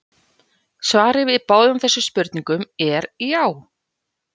Svarið við báðum þessum spurningum er já!